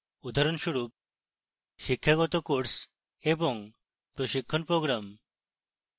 উদাহরণস্বরূপ: শিক্ষাগত courses এবং প্রশিক্ষণ programs